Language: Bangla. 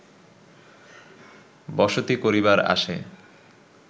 বসতি করিবার আশে